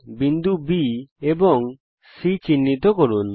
বিন্দু B এবং C বৃত্তের পরিধির উপর চিহ্নিত করুন